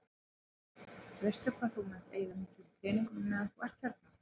Heimir: Veistu hvað þú munt eyða miklum peningum á meðan þú ert hérna?